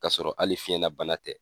Kasɔrɔ hali fiɲɛna bana tɛ.